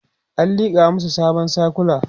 an liƙa masu sabon sikula